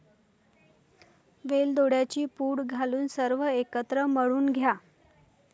वेलदोड्यांची पूड घालून सर्व एकत्र मळून घ्या.